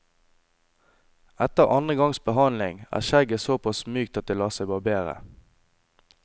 Etter andre gangs behandling, er skjegget såpass mykt at det lar seg barbere.